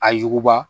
A yuguba